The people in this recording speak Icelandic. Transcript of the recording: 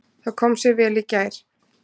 Það kom sér vel í gær.